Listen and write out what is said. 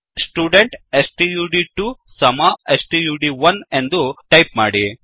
student ಸ್ಟಡ್2 ಸಮ ಸ್ಟಡ್1 ಎಂದು ಟೈಪ್ ಮಾಡಿ